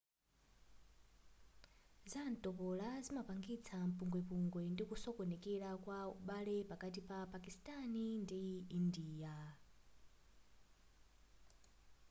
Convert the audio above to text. zantopola zimapangitsa mpungwepungwe ndikusokonekera kwa ubale pakati pa pakistani ndi india